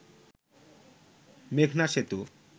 মেঘনা সেতু